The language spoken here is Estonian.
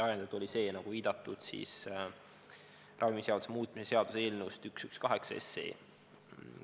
Ajendatud oli see, nagu viidatud, ravimiseaduse muutmise seaduse eelnõust 118.